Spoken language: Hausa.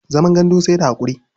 Zaman gandu sai da haƙuri.